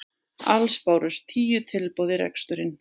Alls bárust tíu tilboð í reksturinn